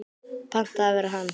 Panta að vera hann.